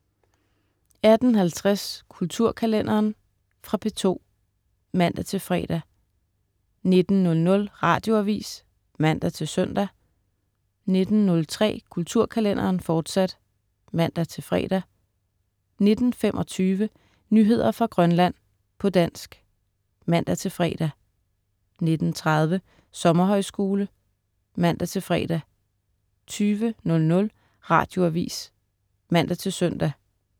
18.50 Kulturkalenderen. Fra P2 (man-fre) 19.00 Radioavis (man-søn) 19.03 Kulturkalenderen, fortsat (man-fre) 19.25 Nyheder fra Grønland, på dansk (man-fre) 19.30 Sommerhøjskole* (man-fre) 20.00 Radioavis (man-søn)